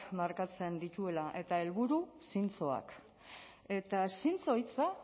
markatzen dituela eta helburu zintzoak eta zintzo hitza